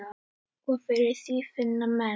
Og fyrir því finna menn.